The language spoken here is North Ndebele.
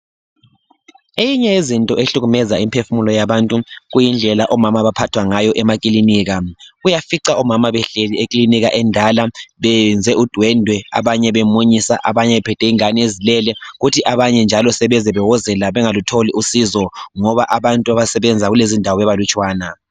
Eyinye yezinto ehlukumeza imiphefumulo yabantu kuyindlela omama abaphathwa ngayo emakilinika. Uyafica omama behleli ekilinika endala beyenze udwendwe abanye bemunyisa abanye bephethe ingane ezilele kuthi abanye njalo sebewozela ngoba bengatholi usizo ngoba abantu abasebenza kulezindawo bebalutshwana.